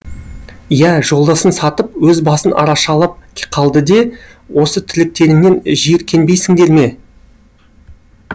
иә жолдасын сатып өз басын арашалап қалды де осы тірліктеріңнен жиіркенбейсіңдер ме